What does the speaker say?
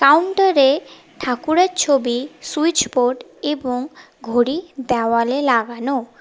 কাউন্টারে ঠাকুরের ছবি সুইচ বোর্ড এবং ঘড়ি দেওয়ালে লাগানো।